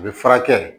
A bɛ furakɛ